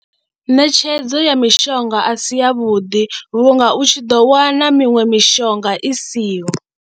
Ṋetshedzo ya mishonga a si yavhuḓi vhunga u tshi ḓo wana miṅwe mishonga i siho.